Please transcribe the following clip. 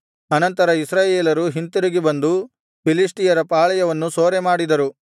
ಅನಂತರ ಇಸ್ರಾಯೇಲರು ಹಿಂತಿರುಗಿ ಬಂದು ಫಿಲಿಷ್ಟಿಯರ ಪಾಳೆಯವನ್ನು ಸೂರೆಮಾಡಿದರು